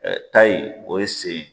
tayi o ye sen ye.